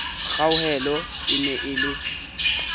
kgauhelo e ne e le